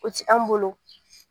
O tɛ an bolo